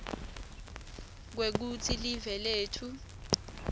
kwekutsi live letfu